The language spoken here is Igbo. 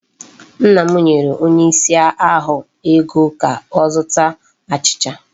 Nna m nyere onye ìsì ahụ ego ka ọ zụta achịcha.